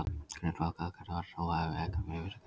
Grundvallaratriðið var að trú hefur ekkert með vissu að gera.